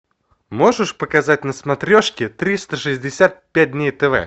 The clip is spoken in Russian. можешь показать на смотрешке триста шестьдесят пять дней тв